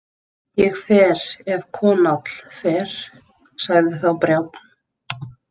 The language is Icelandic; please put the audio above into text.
Ég fer ef Konáll fer, sagði þá Brjánn.